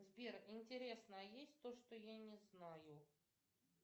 сбер интересно а есть то что я не знаю